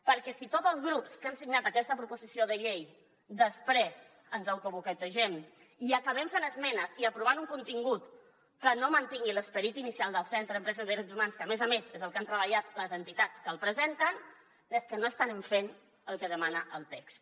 perquè si tots els grups que han signat aquesta proposició de llei després ens autoboicotegem i acabem fent esmenes i aprovant un contingut que no mantingui l’esperit inicial del centre d’empresa i drets humans que a més a més és el que han treballat les entitats que el presenten és que no estarem fent el que demana el text